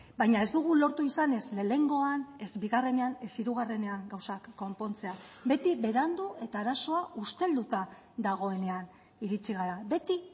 baina ez dugu lortu izan ez lehenengoan ez bigarrenean ez hirugarrenean gauzak konpontzea beti berandu eta arazoa ustelduta dagoenean iritsi gara beti